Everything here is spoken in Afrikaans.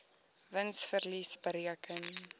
wins verlies bereken